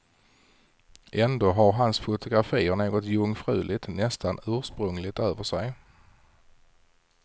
Ändå har hans fotografier något jungfruligt, nästan ursprungligt över sig.